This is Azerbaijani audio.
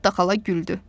Netta xala güldü.